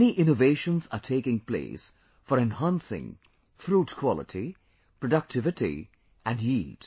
Many innovations are taking place for enhancing fruit quality, productivity & yield